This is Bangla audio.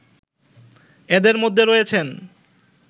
এদের মধ্যে রয়েছেন